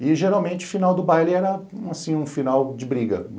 E, geralmente, o final do baile era, assim, um final de briga.